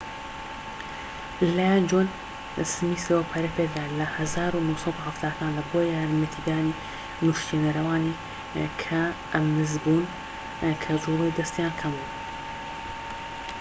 لەلایەن جۆن سمیسەوە پەرەیپێدرا لە ١٩٧٠کاندا بۆ یارمەتیدنی نوشتێنەرەوانی کەئەمزموون کە جوڵەی دەستیان کەمبوو